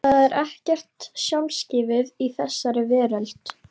Það er ekkert sjálfgefið í þessari veröld.